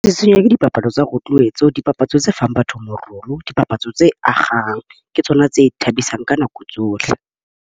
Tsitsinya dipapadi tsa roadworks dipapatso tsa fang batho morolo, dipapatso tse akgang . Ke tsona tse thabisang ka nako tsohle.